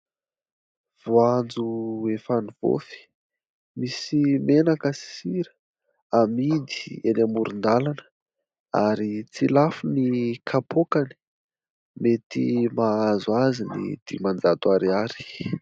Voanjo efa nivaofy, misy menaka sy sira. Amidy eny amoron-dàlana ; ary tsy lafo ny kapôkany, mety mahazo azy ny dimanjato ariary.